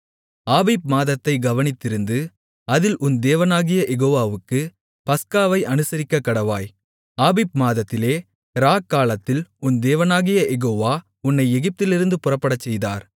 ஆபீப் மாதத்தைக் கவனித்திருந்து அதில் உன் தேவனாகிய யெகோவாவுக்குப் பஸ்காவை அனுசரிக்கக்கடவாய் ஆபீப் மாதத்திலே இராக்காலத்தில் உன் தேவனாகிய யெகோவா உன்னை எகிப்திலிருந்து புறப்படச்செய்தார்